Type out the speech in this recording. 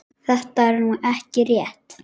Þetta er nú ekki rétt.